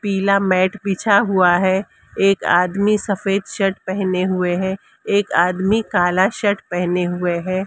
पीला मैट बिछा हुआ है एक आदमी सफेद शर्ट पेहने हुए हैं एक आदमी काला शर्ट पेहने हुए है।